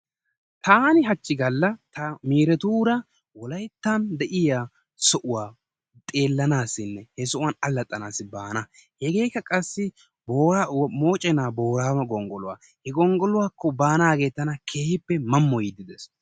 Taani haachchi gaalla ta miiretuura wolayttan de'iyaa sohuwaa xeellanaasinne he sohuwaa allaxanaasi baana hegeekka qassi moochchena booraago gonggoluwaa. He gonggoluwaakko baanasi tana keehippe maamoyiidi de'ees.